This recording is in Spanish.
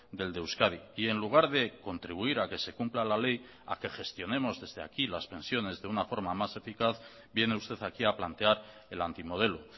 del de euskadi y en lugar de contribuir a que se cumpla la ley a que gestionemos desde aquí las pensiones de una forma más eficaz viene usted aquí a plantear el antimodelo